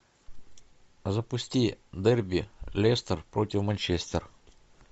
запусти дерби лестер против манчестер